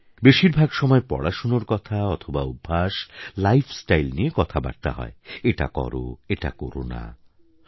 বেশিরভাগ সময় পড়াশোনার কথা অথবা অভ্যাস লাইফ স্টাইল নিয়ে কথা বার্তা হয় এটা কর এটা না কর